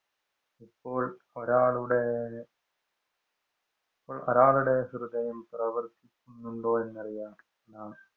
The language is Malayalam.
ഇപ്പോള്‍ ഒരാളുടെ ഒരാളുടെ ഹൃദയം പ്രവര്‍ത്തിക്കുന്നുണ്ടോ എന്നറിയാന്‍ നാം